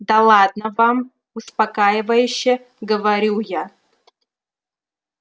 да ладно вам успокаивающе говорю я